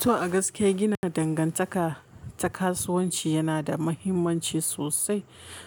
To a gaske gina dangantaka ta kasuwanci yana da muhimmanci sosai.